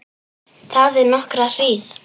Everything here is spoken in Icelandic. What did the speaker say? Þagði nokkra hríð.